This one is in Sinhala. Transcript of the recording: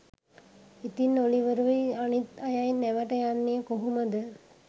ඉතින් ඔලිවරුයි අනිත් අයයි නැවට යන්නේ කොහොමද?